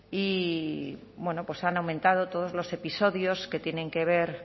y bueno pues han aumentado todos los episodios que tienen que ver